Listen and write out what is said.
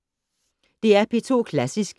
DR P2 Klassisk